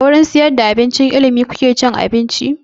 A wurin sayar da abinci na tsangayar ilimi kuke cin abinci?